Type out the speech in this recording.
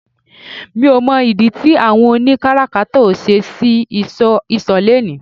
Mi ò mọ̀ ìdí tí àwọn oni káràkátà ò ṣe ṣí ìsọ̀ lónìí